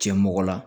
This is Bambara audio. Cɛ mɔgɔ la